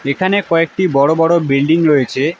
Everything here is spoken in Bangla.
এখানে কয়েকটি বড় বড় বিল্ডিং রয়েছে।